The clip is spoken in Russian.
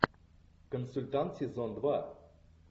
консультант сезон два